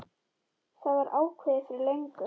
Það var ákveðið fyrir löngu.